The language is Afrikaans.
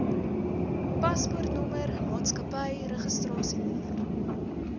paspoortnommer maatskappy registrasienommer